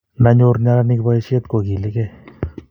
nda nyor neranik boishet ko kiligei